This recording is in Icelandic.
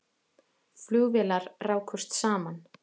Flugvélar rákust saman